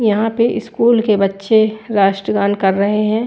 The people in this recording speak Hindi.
यहा पे स्कूल के बच्चे रस्त्गान कर रहे है।